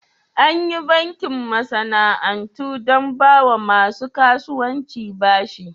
Anyi bankin masana'antu don bawa masu kasuwanci bashi.